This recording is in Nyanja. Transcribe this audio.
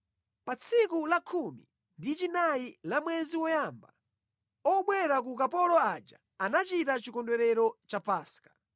Pa tsiku la khumi ndi chinayi la mwezi woyamba, obwera ku ukapolo aja anachita chikondwerero cha Paska.